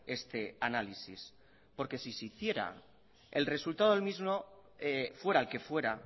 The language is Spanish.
este análisis porque si se hiciera el resultado del mismo fuera el que fuera a